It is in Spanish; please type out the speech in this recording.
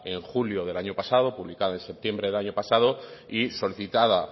en julio del año pasado publicada en septiembre del año pasado y solicitada